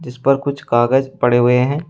इस पर कुछ कागज पड़े हुए हैं।